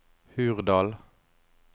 Hurdal